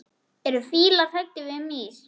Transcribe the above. Eru fílar hræddir við mýs?